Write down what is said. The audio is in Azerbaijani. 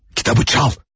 Kitabı çal.